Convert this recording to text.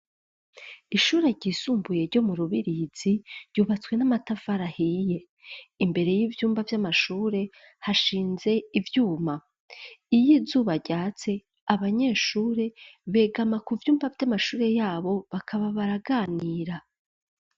Ishure ryisumbuye ryo mu Rubirizi, ryubatswe n'amatafari ahiye, imbere y'ivyumba vy'amashure hashinze ivyuma, iyo izuba ryatse abanyeshure begama ku vyumba vy'amashure yabo bakaba baraganira.